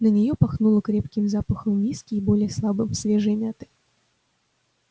на неё пахнуло крепким запахом виски и более слабым свежей мяты